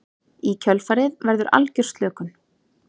Í kjölfarið verður algjör slökun.